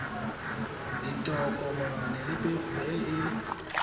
ditokomane le pego e e